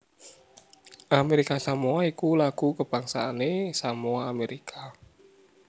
Amérika Samoa iku lagu kabangsané Samoa Amérika